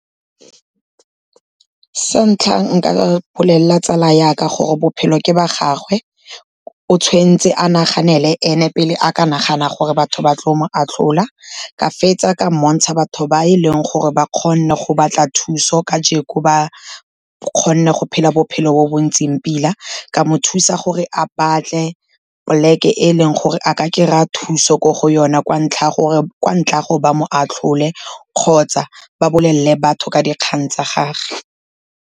Santlha nka bolelela tsala ya ka gore bophelo ke ba gagwe, o tshwentse a naganele ene pele a ka nagana gore batho ba tlo mo atlhola. Ka fetsa ka mmontsha batho ba e leng gore ba kgone go batla thuso kajeko ba kgone go phela bophelo bo bo ntseng pila, ka mo thusa gore a batle poleke e e leng gore a ka kry-a thuso ko go yone, ka ntlha ya gore ba mo atlhole kgotsa ba bolelele batho ka dikgang tsa gage.